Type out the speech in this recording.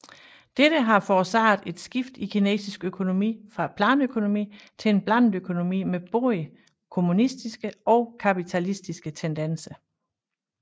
Dette har forårsaget et skift i kinesisk økonomi fra planøkonomi til en blandet økonomi med både kommunistiske og kapitalistiske tendenser